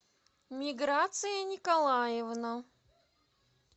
миграция николаевна